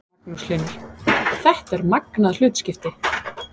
Magnús Hlynur: Þetta er magnað hlutskipti?